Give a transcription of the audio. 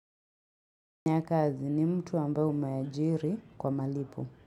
Nyakazi ni mtu ambaye umeajiri kwa malipo.